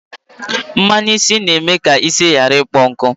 mmanu isi n'eme ka isi ghara ịkpọ nku